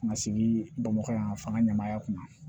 Ka na sigi bamakɔ yan fan ka ɲamaya kunna